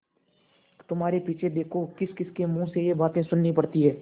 तुम्हारे पीछे देखो किसकिसके मुँह से ये बातें सुननी पड़ती हैं